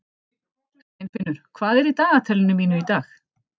Steinfinnur, hvað er í dagatalinu mínu í dag?